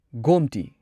Gomti